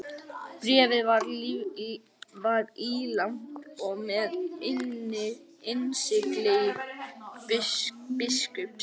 Bréfið var ílangt og með innsigli biskups.